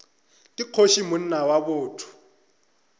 ke kgoši monna wa botho